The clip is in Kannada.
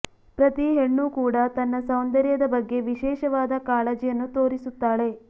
ಪ್ರತಿ ಹೆಣ್ಣು ಕೂಡ ತನ್ನ ಸೌಂದರ್ಯದ ಬಗ್ಗೆ ವಿಶೇಷವಾದ ಕಾಳಜಿಯನ್ನು ತೋರಿಸುತ್ತಾಳೆ